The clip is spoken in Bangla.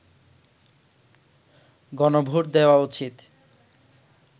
গণভোট দেয়া উচিৎ